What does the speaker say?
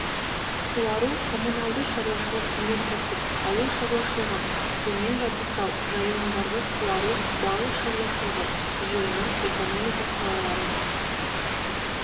суару коммуналды шаруашылық өнеркәсіп ауыл шаруашылығын сумен жабдықтау жайылымдарды суару балық шаруашылығы жиыны экономика салаларының